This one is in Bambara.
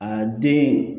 A den